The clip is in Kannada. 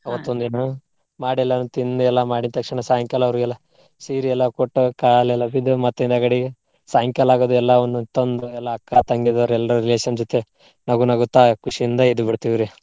ದಿನಾ. ಮಾಡಿ ಎಲ್ಲಾನು ತಿಂದ ಎಲ್ಲಾ ಮಾಡಿದ ತಕ್ಷಣಾ ಸಾಯಂಕಾಲಾ ಅವ್ರಿಗೆಲ್ಲಾ ಸೀರಿ ಎಲ್ಲಾ ಕೊಟ್ಟು ಕಾಲೆಲ್ಲಾ ಬಿದ್ದು ಮತ್ ನೆಗಡಿ ಸಾಯಂಕಾಲಾಗದು ಎಲ್ಲವನ್ನು ತಂದ ಎಲ್ಲಾ ಅಕ್ಕಾ, ತಂಗಿದವ್ರ ಎಲ್ರ್ relation ಜೊತೆ ನಗುನಗುತ್ತಾ ಖುಷಿಯಿಂದ ಇದ್ ಬಿಡ್ತೀವ್ರಿ.